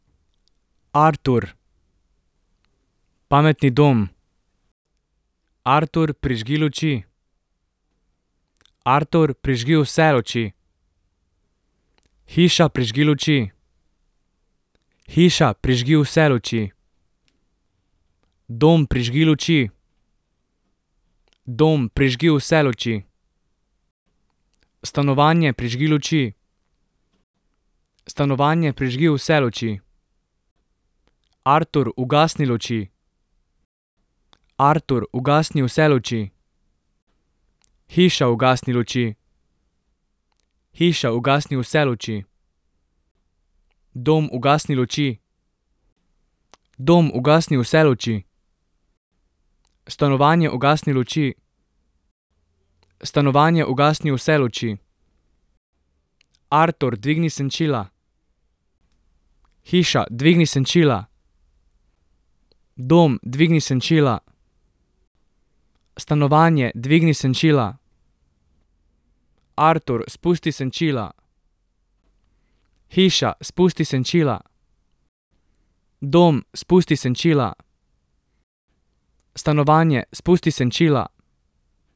Artur. Pametni dom. Artur, prižgi luči. Artur, prižgi vse luči. Hiša, prižgi luči. Hiša, prižgi vse luči. Dom, prižgi luči. Dom, prižgi vse luči. Stanovanje, prižgi luči. Stanovanje, prižgi vse luči. Artur, ugasni luči. Artur, ugasni vse luči. Hiša, ugasni luči. Hiša, ugasni vse luči. Dom, ugasni luči. Dom, ugasni vse luči. Stanovanje, ugasni luči. Stanovanje, ugasni vse luči. Artur, dvigni senčila. Hiša, dvigni senčila. Dom, dvigni senčila. Stanovanje, dvigni senčila. Artur, spusti senčila. Hiša, spusti senčila. Dom, spusti senčila. Stanovanje, spusti senčila.